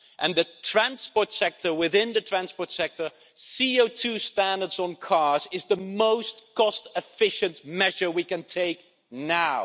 And the transport sector, within the transport sector, CO2 standards on cars is the most cost-efficient measure we can take now.